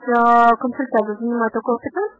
попробуй